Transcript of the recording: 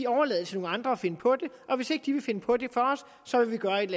overlader til nogle andre at finde på det og hvis ikke de vil finde på det så vil man gøre et